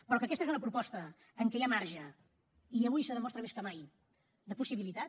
però que aquesta és una proposta en què hi ha marge i avui se demostra més que mai de possibilitat